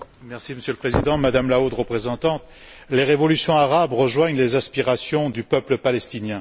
Monsieur le Président, Madame la Haute représentante, les révolutions arabes rejoignent les aspirations du peuple palestinien.